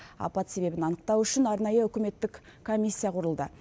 апат себебін анықтау үшін арнайы үкіметтік комиссия құрылды